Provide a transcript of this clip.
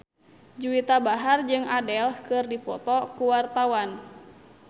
Juwita Bahar jeung Adele keur dipoto ku wartawan